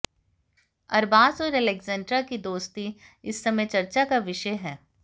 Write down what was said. अरबाज और एलेक्जेंड्रा की दोस्ती इस समय चर्चा का विषय है